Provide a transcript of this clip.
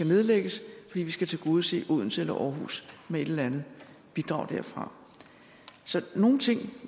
nedlægges fordi vi skulle tilgodese odense eller aarhus med et eller andet bidrag derfra så nogle ting